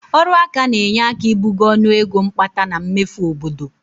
Ọrụaka na-enye aka ibugo ọnụego mkpata na mmefu obodo